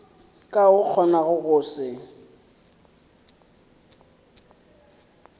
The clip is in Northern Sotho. ka o kgonago go se